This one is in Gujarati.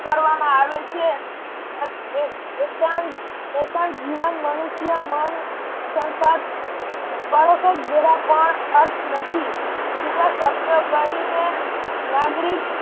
કરવામાં આવે છે. એકાંત એકાંત જીવન મનુષ્ય મન સંસાદ બાળકો જેવા પણ અર્થ નથી બીજા શબ્દો કહીને નાગરિક